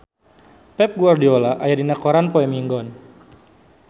Pep Guardiola aya dina koran poe Minggon